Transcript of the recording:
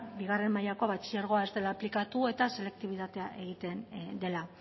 bigaren mailako batxilergoa ez dela aplikatu eta selektibitatea egiten dela